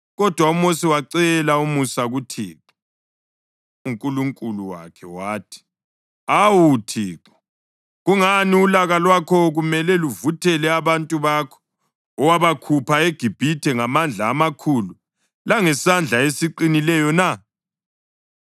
Kodwa uMosi wacela umusa kuThixo uNkulunkulu wakhe, wathi, “Awu Thixo, kungani ulaka lwakho kumele luvuthele abantu bakho owabakhupha eGibhithe ngamandla amakhulu langesandla esiqinileyo na?